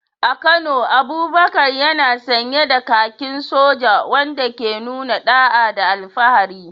A Kano, Abubakar yana sanye da kakin soja, wanda ke nuna da’a da alfahari.